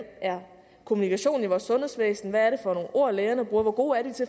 kommunikationen er i vores sundhedsvæsen hvad det er for nogle ord lægerne bruger og hvor gode de